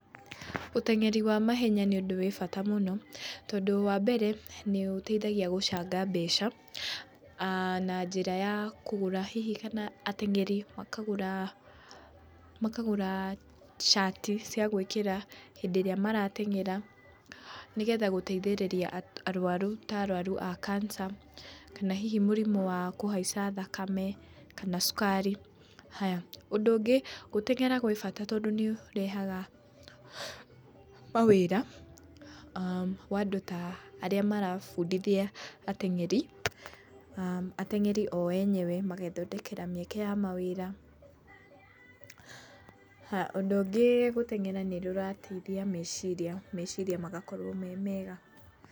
Ũteng'eri wa mahenya nĩ ũndũ wĩ bata mũno. Tondũ wambere, nĩ ũteithagia gũcanga mbeca na njĩra ya kũgũra, hihi kana ateng'eri makagũra cati cia gwĩkĩra hĩndĩ ĩrĩa marateng'era, nĩ getha gũteithĩrĩria arũaru ta arũaru a kanca kana hihi mũrimũ wa kũhaica thakame kana cukari. Ũndũ ũngĩ, gũteng'era gwi bata tondũ nĩ kũrehaga mawĩra ma andũ ta arĩa marabundithia ateng'eri. Ateng'eri o enyewe magethondekera mĩeke ya mawĩra. Ũndũ ungĩ gũteng'era nĩ kũrateithia meciria, meciria magakorwo me mega.